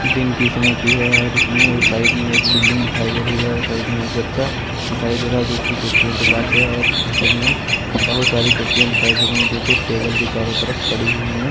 दिन की समय की है और इसमें एक साइड में एक बिल्डिंग दिखाई दे रही है और साइड में एक बच्चा दिखाई दे रहा जो की कुर्सियों के पास है और छवि में बहोत सारी कुर्सियां दिखाई दे रही है जो की टेबल के चारों तरफ पड़ी हुई है।